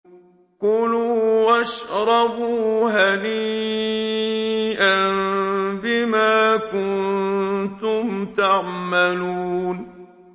كُلُوا وَاشْرَبُوا هَنِيئًا بِمَا كُنتُمْ تَعْمَلُونَ